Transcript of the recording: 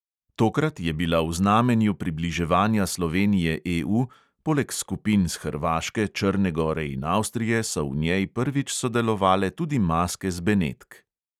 Tokrat je bila v znamenju približevanja slovenije EU, poleg skupin s hrvaške, črne gore in avstrije so v njej prvič sodelovale tudi maske z benetk.